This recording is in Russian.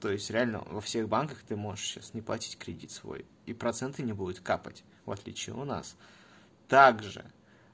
то есть реально во всех банках ты можешь сейчас не платить кредит свой и проценты не будет капать в отличие у нас также